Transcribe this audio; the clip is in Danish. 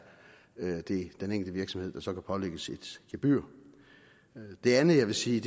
den enkelte virksomhed der så kan pålægges et gebyr det andet jeg vil sige